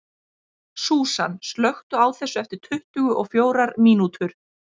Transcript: Súsan, slökktu á þessu eftir tuttugu og fjórar mínútur.